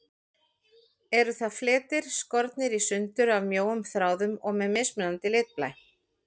Eru það fletir, skornir í sundur af mjóum þráðum og með mismunandi litblæ.